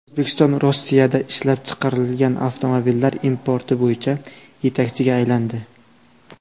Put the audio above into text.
O‘zbekiston Rossiyada ishlab chiqarilgan avtomobillar importi bo‘yicha yetakchiga aylandi .